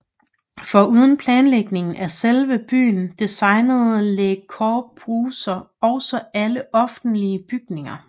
Foruden planlægning af selve byen designede Le Corbusier også alle offentlige bygninger